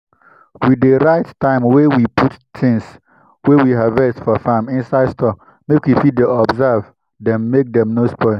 we dey write time wey we put things wey we harvest for farm inside store make we fit dey observe dem make dey no spoil.